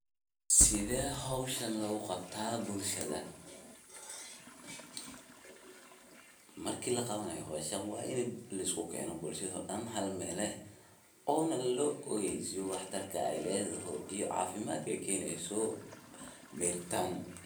Sithee hoshaan loguqabtaa bulshaada, marki laqawanayo hoshaan waini liskukeeno bulshaada daan hal Meel eh, onaah laogeysiyo wax tarkaa ee ledoho iyo cafimaadka keneyso mirtaan.